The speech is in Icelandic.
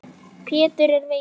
Pétur er veikur.